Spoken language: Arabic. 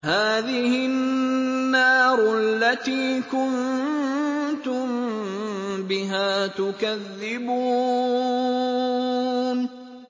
هَٰذِهِ النَّارُ الَّتِي كُنتُم بِهَا تُكَذِّبُونَ